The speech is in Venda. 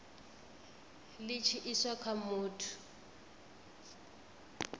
li tshi iswa kha muthu